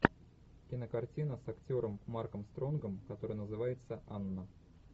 кинокартина с актером марком стронгом которая называется анна